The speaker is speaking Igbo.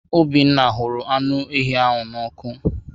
Obinna hụrụ anụ eshị ahụ nnọ ọkụ.